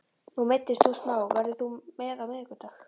Nú meiddist þú smá, verður þú með á miðvikudag?